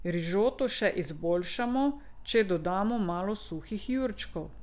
Rižoto še izboljšamo, če dodamo malo suhih jurčkov.